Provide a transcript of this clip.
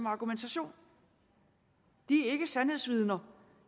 argumentation de er ikke sandhedsvidner